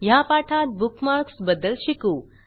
ह्या पाठात बुकमार्क्स बद्दल शिकू